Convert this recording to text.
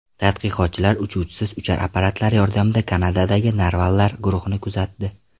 Tadqiqotchilar uchuvchisiz uchar apparatlar yordamida Kanadadagi narvallar guruhini kuzatdi.